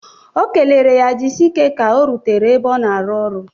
O kelere ya jisike ka o rutere ebe ọ na-arụ ọrụ.